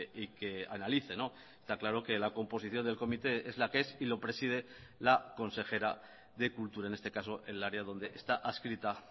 y que analice está claro que la composición del comité es la que es y lo preside la consejera de cultura en este caso el área donde está adscrita